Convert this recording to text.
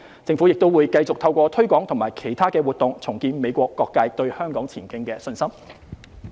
政府亦會繼續透過推廣和其他活動，重建美國各界對香港前景的信心。